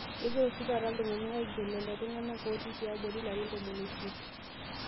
Kegira oshi taata ltung'ana aigerr lelo tung'ana ooti tiabori larin tomon o siet